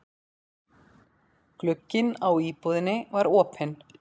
Glugginn á íbúðinni var opinn.